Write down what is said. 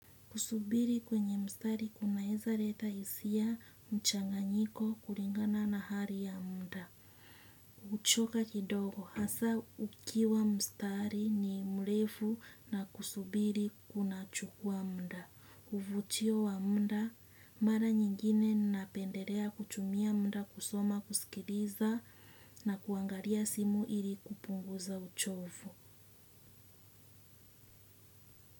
Kusubiri kwenye mstari kunaeza leta hisia mchanganyiko kulingana na hali ya mda. Huchoka kidogo hasa ukiwa mstari ni mrefu na kusubiri kunachukua mda. Uvutio wa mda mara nyingine napendelea kutumia mda kusoma kusikiliza na kuangalia simu ili kupunguza uchovu.